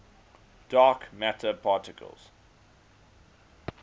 dark matter particles